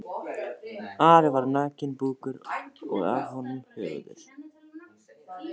Ari var nakinn búkur og af honum höfuðið.